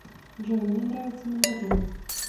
джой мне нравятся мандарины